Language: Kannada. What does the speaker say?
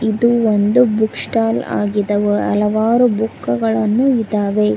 ಇದು ಒಂದು ಬುಕ್ ಸ್ಟಾಲ್ ಆಗಿದವ ಹಲವಾರು ಬುಕ್ಕುಗಳನ್ನು ಇದಾವೆ.